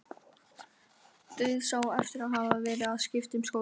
Dauðsá eftir að hafa verið að skipta um skóla.